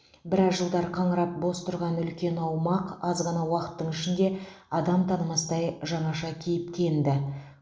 біраз жылдар қаңырап бос тұрған үлкен аумақ аз ғана уақыттың ішінде адам танымастай жаңаша кейіпке енді